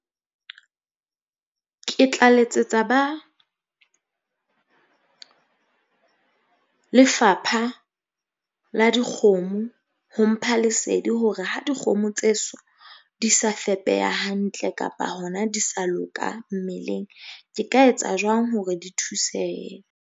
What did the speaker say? Ke tla letsetsa ba lefapha la dikgomo hong mpha lesedi hore ha dikgomo tse so di sa fepeha hantle kapa hona di sa loka mmeleng. Ke ka etsa jwang hore di thusehe?